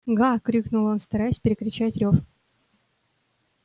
га крикнул он стараясь перекричать рёв